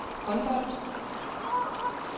håndbold